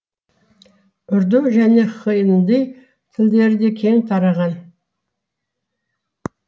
урду және хинди тілдері де кең тараған